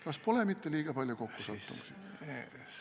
" Kas pole mitte liiga palju kokkusattumusi?